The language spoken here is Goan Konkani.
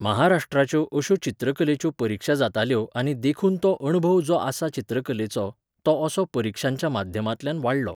महाराष्ट्राच्यो अश्यो चित्रकलेच्यो परिक्षा जाताल्यो आनी देखून तो अणभव जो आसा चित्रकलेचो, तो असो परिक्षांच्या माध्यमांतल्यान वाडलो.